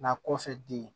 Nka kɔfɛ den